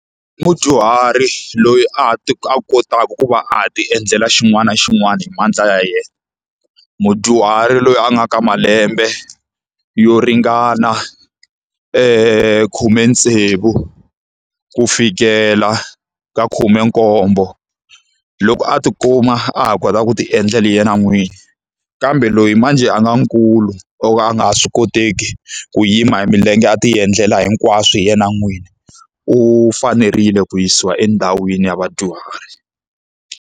I mudyuhari loyi a ha ti a kotaka ku va a ha ti endlela xin'wana na xin'wana hi mandla ya yena. Mudyuhari loyi a nga ka malembe yo ringana khume tsevu ku fikela ka khume nkombo. Loko a ti kuma a ha kota ku ti endla leyi yena n'wini. Kambe loyi manjhe a nga nkulu, o ka a nga ha swi koteki ku yima hi milenge a ti endlela hinkwaswo hi yena n'wini, u fanerile ku yisiwa endhawini ya vadyuhari.